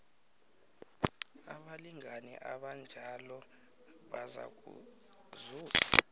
abalingani abanjalo bazakuzuza